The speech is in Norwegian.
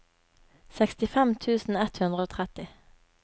sekstifem tusen ett hundre og tretti